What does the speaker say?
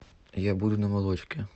я буду на молочке